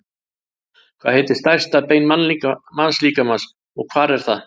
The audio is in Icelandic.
Hvað heitir stærsta bein mannslíkamans og hvar er það?